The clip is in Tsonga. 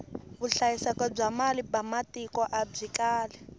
vuhlayiselo bya mali ba matiko abyi kali